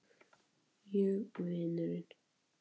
Ég og vinurinn.